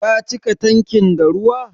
Ka cika tankin da ruwa?